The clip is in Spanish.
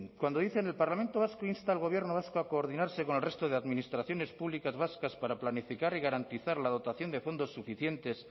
cuando dicen el parlamento vasco insta al gobierno vasco a coordinarse con el resto de administraciones públicas vascas para planificar y garantizar la dotación de fondos suficientes